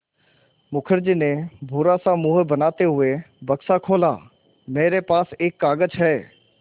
मुखर्जी ने बुरा सा मुँह बनाते हुए बक्सा खोला मेरे पास एक कागज़ है